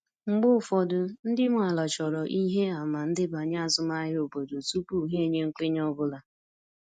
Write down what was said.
Mgbe ụfọdụ, ndị nwe ala chọrọ ihe àmà ndebanye azụmahịa obodo tupu ha enye nkwenye ọ bụla.